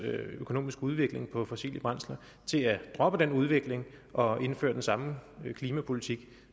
økonomiske udvikling på fossile brændsler til at droppe den udvikling og indføre den samme klimapolitik